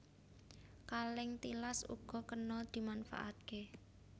Kalèng tilas uga kena dimanfaatké